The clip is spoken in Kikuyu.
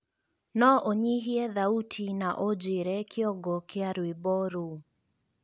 no ũnyihie thauti na ũnjĩre kĩongo kĩa rwĩmbo rũu